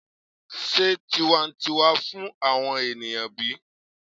se tiwantiwa fun awon eniyan bi?